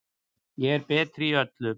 Ég er betri í öllu.